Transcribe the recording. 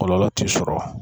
Kɔlɔlɔ t'i sɔrɔ